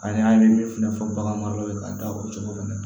An y'an ye min fɛnɛ fɔ bagan maraw ye ka da o cogo fɛnɛ na